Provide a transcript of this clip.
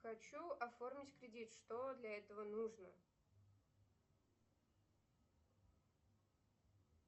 хочу оформить кредит что для этого нужно